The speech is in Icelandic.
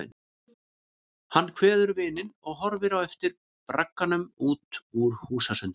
Hann kveður vininn og horfir á eftir bragganum út úr húsasundinu.